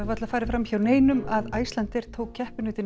varla farið fram hjá neinum að Icelandair tók keppinautinn